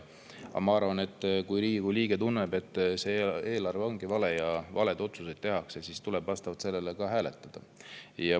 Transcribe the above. Ma arvan, et kui Riigikogu liige tunneb, et see eelarve on vale ja tehakse valed otsused, siis tuleb vastavalt sellele ka hääletada.